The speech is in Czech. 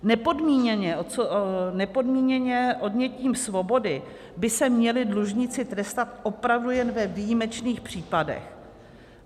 Nepodmíněně odnětím svobody by se měli dlužníci trestat opravdu jen ve výjimečných případech.